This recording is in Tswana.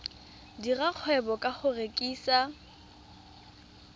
dira kgwebo ka go rekisa